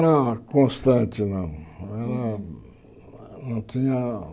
Não era constante, não. Era não tinha